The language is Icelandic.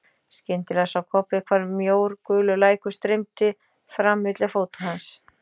Skyndilega sá Kobbi hvar mjór gulur lækur streymdi fram milli fóta hans.